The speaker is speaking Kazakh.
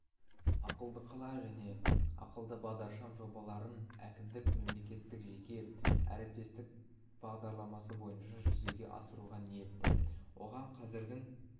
ақылды қала және ақылды бағдаршам жобаларын әкімдік мемлекеттік-жеке әріптестік бағдарламасы бойынша жүзеге асыруға ниетті оған қазірдің